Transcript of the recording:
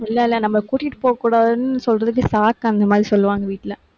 இல்லை, இல்லை நம்ம கூட்டிட்டு போகக் கூடாதுன்னு சொல்றதுக்கு சாக்கு அந்த மாதிரி சொல்லுவாங்க வீட்டுல.